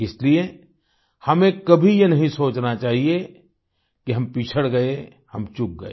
इसलिए हमें कभी ये नहीं सोचना चाहिये कि हम पिछड़ गए हम चूक गए